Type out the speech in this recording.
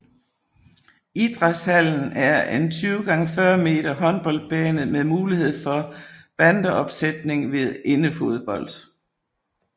Idrætshallen er en 20x40 meter håndboldbane med mulighed for bandeopsætning ved indefodbold